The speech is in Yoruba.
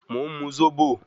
Mo ùn mu Zobo.